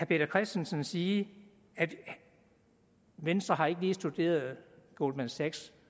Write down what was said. peter christensen sige at venstre ikke lige har studeret goldman sachs